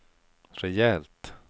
rejält